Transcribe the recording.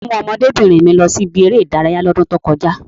Ta ló mú ọmọdébìnrin mi lọ sí ibi eré ìdárayá ní ọdún tí ó kọjá?